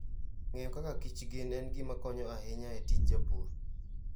Ng'eyo kaka kich gin en gima konyo ahinya e tij pur.